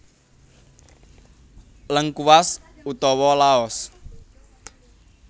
Lengkuas utawa Laos